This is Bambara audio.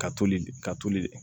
Ka toli ka tulu